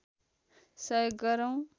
सहयोग गरौँ